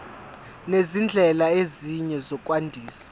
nezindlela ezinye zokwandisa